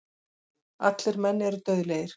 Allir menn eru dauðlegir.